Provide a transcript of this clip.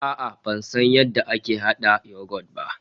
A'a ban san yadda ake hada yoghurt ba